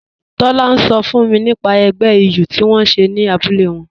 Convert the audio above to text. Tọla n sọ fún mi nípà ègbẹ̀ ìyù tí wọn n ṣẹ̀ ní àbúlẹ̀ wọn